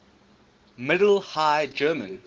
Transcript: middle high german